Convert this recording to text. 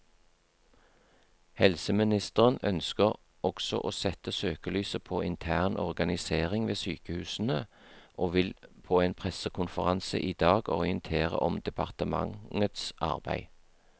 Helseministeren ønsker også å sette søkelyset på intern organisering ved sykehusene, og vil på en pressekonferanse i dag orientere om departementets arbeid.